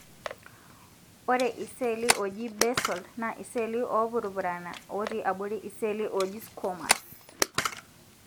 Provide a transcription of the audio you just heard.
ore iseli oji basal na iselii opurupurana oti abori iseli oji squamous.